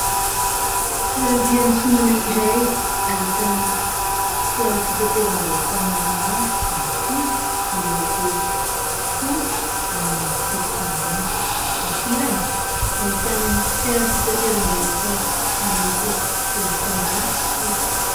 Toeram-piantsonana iray ahitana fiara fitateram-bahoaka maromaro mitovy, miloko fotsy ary misy tsipika maitso ; eto ankilany, ahitana fiara fitateram-bahoaka miloko volomparasy sy fotsy.